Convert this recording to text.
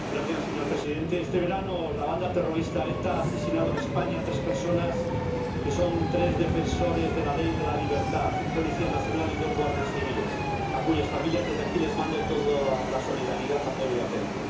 Señor Presidente, este verano, la banda terrorista ETA ha asesinado en España a tres personas, que son tres defensores de la ley y de la libertad, un policía nacional y dos guardias civiles, a cuyas familias, desde aquí, mando toda la solidaridad, apoyo y afecto.